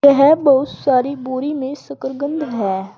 यह बहुत सारी बोरी में शकरकंद है।